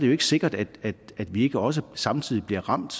jo ikke sikkert at vi ikke også samtidig bliver ramt